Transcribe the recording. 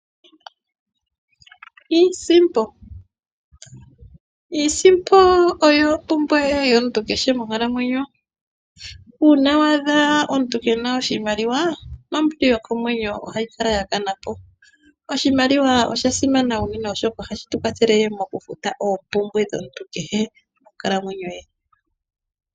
Iisimpo, iisimpo oyo ompumbwe yomuntu kehe monkalamwenyo, uuna wa adha omuntu kena oshimaliwa nombili yokomwenyo ohayi kala yakanapo. Oshimaliwa oshasimana unene oshoka ohashi tukwathele mokufuta oompumbwe dhomuntu kehe monkalamwenyo ye.